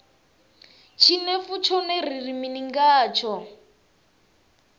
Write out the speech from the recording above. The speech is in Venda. tshinefu tshone ri ri mini ngatsho